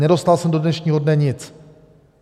Nedostal jsem do dnešního dne nic.